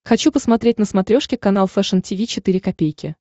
хочу посмотреть на смотрешке канал фэшн ти ви четыре ка